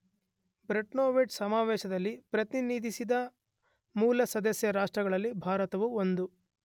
Bretton Woods ಸಮಾವೇಶದಲ್ಲಿ ಪ್ರತಿನಿಧಿಸಿದ ಮೂಲ ಸದಸ್ಯ ರಾಷ್ಟ್ರಗಳಲ್ಲಿ ಭಾರತವೂ ಒಂದು.